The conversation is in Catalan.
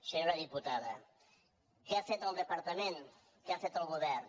senyora diputada què ha fet el departament què ha fet el govern